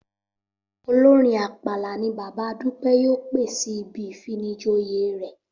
Olórin ápàlà ni bàbá Dúpẹ́ yóò pè sí ibi ìfinijoyè rẹ̀